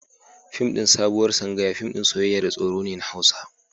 Fim ɗin Sabuwar Sangaya fim ɗin soyayya da tsoro ne na Hausa.